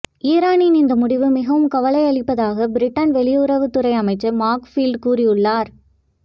ஈரானின் இந்த முடிவு மிகவும் கவலையளிப்பதாக பிரிட்டன் வெளியுறவுத் துறை அமைச்சர் மார்க் ஃபீல்டு கூறியுள்ளார்